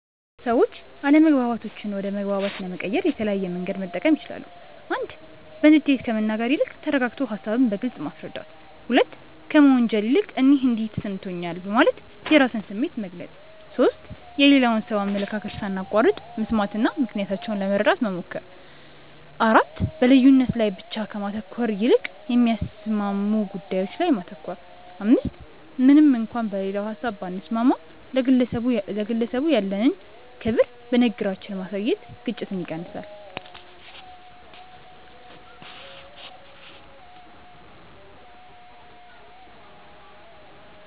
ሰዎች አለመግባባቶችን ወደ መግባባት ለመቀየር የተለያየ መንገድ መጠቀም ይችላሉ፦ 1. በንዴት ከመናገር ይልቅ ተረጋግቶ ሃሳብን በግልጽ ማስረዳት። 2. ከመወንጀል ይልቅ "እኔ እንዲህ ተሰምቶኛል" በማለት የራስን ስሜት መግለጽ። 3. የሌላውን ሰው አመለካከት ሳናቋርጥ መስማትና ምክንያታቸውን ለመረዳት መሞከር። 4. በልዩነት ላይ ብቻ ከማተኮር ይልቅ የሚያስማሙ ጉዳዮች ላይ ማተኮር። 5. ምንም እንኳን በሌላው ሀሳብ ባንስማማም፣ ለግለሰቡ ያለንን ክብር በንግግራችን ማሳየት ግጭትን ይቀንሳል።